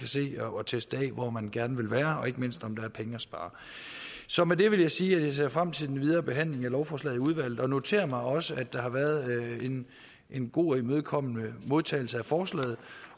se og teste hvor man gerne vil være og ikke mindst om der er penge at spare så med det vil jeg sige at jeg ser frem til den videre behandling af lovforslaget i udvalget og noterer mig også at der har været en god og imødekommende modtagelse af forslaget